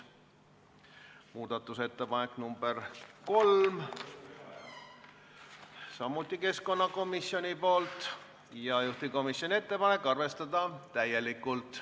Muudatusettepanek nr 3 on samuti keskkonnakomisjonilt, juhtivkomisjoni ettepanek on arvestada täielikult.